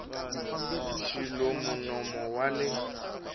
xi luma nomo wa le